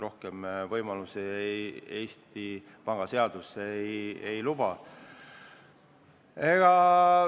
Rohkem võimalusi Eesti Panga seadus ei anna.